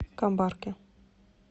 камбарке